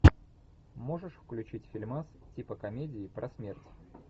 можешь включить фильмас типа комедии про смерть